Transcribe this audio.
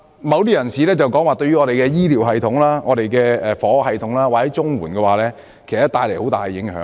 某些議員指，他們會對我們的醫療系統、房屋系統或綜合社會保障援助帶來很大影響。